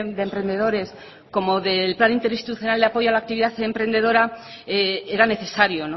de emprendedores como del plan interinstitucional de apoyo a laactividad emprendedora era necesario